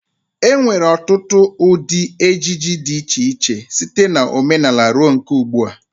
E nwere ọtụtụ ụdị ejiji dị iche iche, site na omenala ruo nke ugdbua.